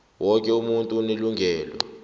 woke umuntu unelungelo